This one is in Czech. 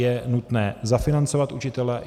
Je nutné zafinancovat učitele.